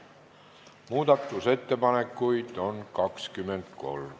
Muudatusettepanekuid on 23.